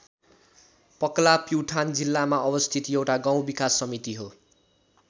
पकला प्युठान जिल्लामा अवस्थित एउटा गाउँ विकास समिति हो।